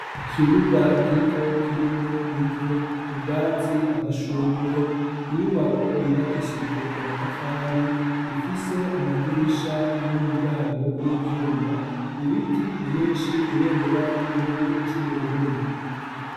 Ikibuga gito kirimwo ivu ubwatsi amashugwe inyubako yubakishijwe amatafari ifise amadirisha n'imiryango y'ivyuma ibiti vyinshi ibendera ry'igihugu c'uburundi.